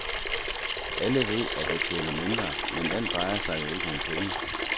Alle ved, at jeg tjener mindre, men alt drejer sig jo ikke om penge.